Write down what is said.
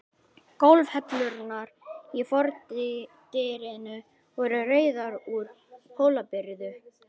Gólfhellurnar í fordyrinu voru rauðar, úr Hólabyrðu.